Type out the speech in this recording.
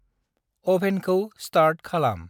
अभेनखौ start खालाम।